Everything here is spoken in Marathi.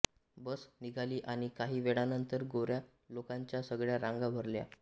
बस निघाली आणि काही वेळानंतर गोऱ्या लोकांच्या सगळ्या रांगा भरल्या